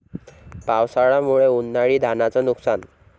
पावसामुळे उन्हाळी धानाचं नुकसान